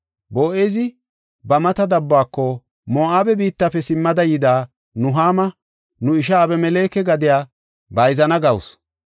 Boo7ezi ba mata dabbuwako “Moo7abe biittafe simmada yida Nuhaama, nu isha Abemeleke gadiya bayzana gawusu.